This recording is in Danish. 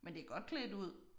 Men det godt klædt ud